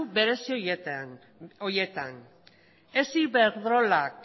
berezi horietan ez iberdrolak